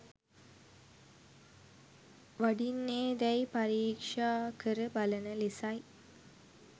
වඩින්නේදැයි පරීක්‍ෂා කර බලන ලෙසයි.